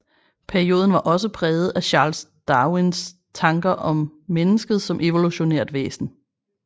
Perioden var også præget af Charles Darwins tanker om mennesket som evolutionært væsen